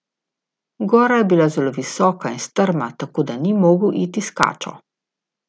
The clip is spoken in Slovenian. Gora je bila zelo visoka in strma, tako da ni mogel iti s kačo.